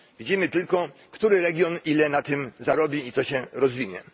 Widzimy tylko, który region ile na tym zarobi i co się rozwinie.